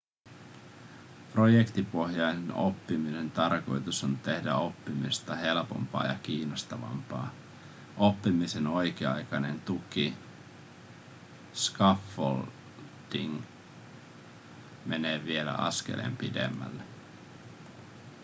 projektipohjaisen oppimisen tarkoitus on tehdä oppimisesta helpompaa ja kiinnostavampaa. oppimisen oikea-aikainen tuki scaffolding menee vielä askeleen pidemmälle